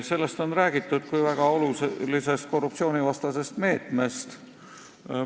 Sellest on räägitud kui väga olulisest korruptsioonivastasest meetmest.